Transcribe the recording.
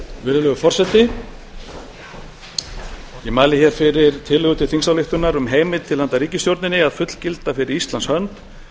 virðulegur forseti ég mæli fyrir tillögu til þingsályktunar um heimild til handa ríkisstjórninni að fullgilda fyrir íslands hönd